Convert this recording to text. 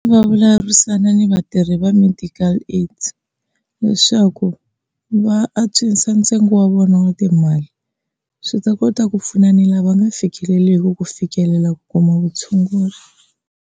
Va vulavurisana ni vatirhi va medical aid, leswaku va antswisa ntsengo wa vona wa timali swi ta kota ku pfuna na lava va nga fikeleliki ku fikelela ku kuma vutshunguri.